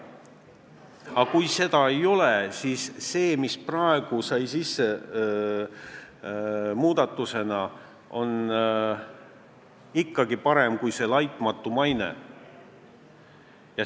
Aga kuni seda ei ole, siis see, mis praegu sai muudatusena sisse, on ikkagi parem kui see "laitmatu maine".